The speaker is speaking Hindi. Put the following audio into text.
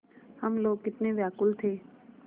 हम लोग कितने व्याकुल थे